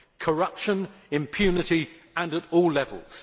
Corruption and impunity, and at all levels.